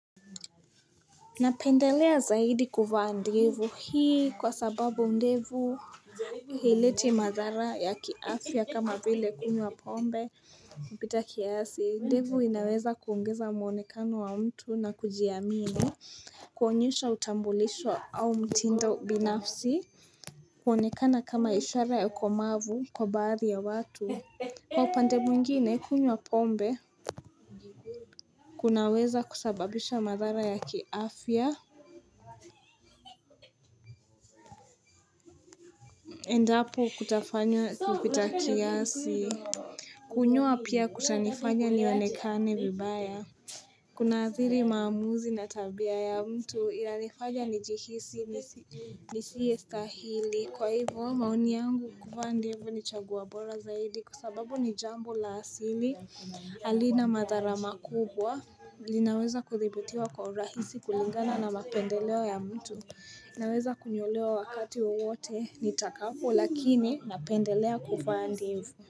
Napendelea zaidi kuvaa ndivu hii kwa sababu ndevu haileti madhara ya kiafya kama vile kunywa pombe kupita kiasi ndevu inaweza kuongeza mwonekano wa mtu na kujiamini kuonyesha utambulishwa au mtindo binafsi kuonekana kama ishara ya ukomavu kwa baadhi ya watu Kwa upande mwingine kunywa pombe kunaweza kusababisha madhara ya kiafya Endapo kutafanywa kupita kiasi kunywa pia kutanifanya nionekane vibaya Kunaadhiri maamuzi na tabia ya mtu inanifanya nijihisi nisiyestahili kwa hivo maoni yangu kuvaa ndevu ni chaguo bora zaidi kwa sababu ni jambo la asili halina madhara makubwa linaweza kudhibitiwa kwa urahisi kulingana na mapendeleo ya mtu. Naweza kunyolewa wakati wowote nitakapo, lakini napendelea kuvaa ndivu.